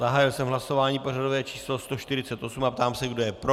Zahájil jsem hlasování pořadové číslo 148 a ptám se, kdo je pro.